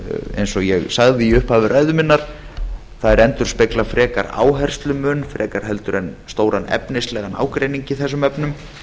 eins og ég sagði í upphafi ræðu minnar þær endurspegla frekar áherslumun frekar heldur en stóran efnislegan ágreining í þessum efnum